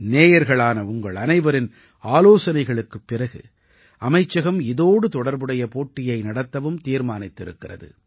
நேயர்களான உங்கள் அனைவரின் ஆலோசனைகளுக்குப் பிறகு அமைச்சகம் இதோடு தொடர்புடைய போட்டியை நடத்தவும் தீர்மானித்திருக்கிறது